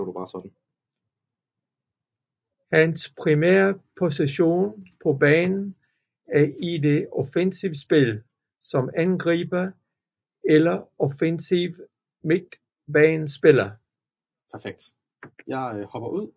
Hans primære position på banen er i det offensive spil som angriber eller offensiv midtbanespiller